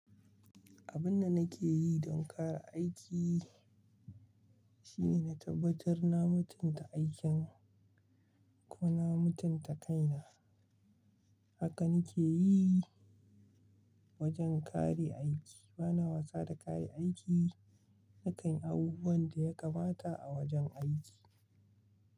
Abun da nake yi don kare aiki shine na tabbatar na mutunta aikin ko na mutunta kaina. Haka nake yi wajen kare aiki. Bana wasa da kayan aiki, nakan yi abubuwan da ya kamata a wajen aiki.